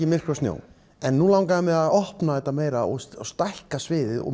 í myrkri og snjó nú langaði mig að opna þetta meira stækka sviðið og